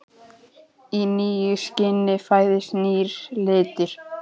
Í nýju skini fæðist nýr litur.